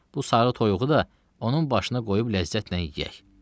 Bu sarı toyuğu da onun başına qoyub ləzzətlə yeyək.